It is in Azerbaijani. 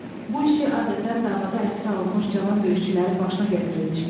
Bu işi adətən davada əsir alınmış cavan döyüşçülərin başına gətirirmişlər.